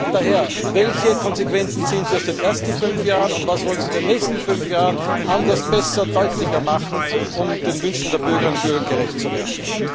Daher Welche Konsequenzen ziehen Sie aus den ersten fünf Jahren, und was wollen Sie in den nächsten fünf Jahren anders, besser, deutlicher machen, um den Wünschen der Bürgerinnen und Bürger gerecht zu werden